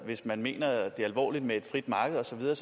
hvis man mener det alvorligt med et frit marked og så videre